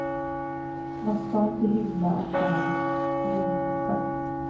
Man ska inte hymla om dagens rymdskepp.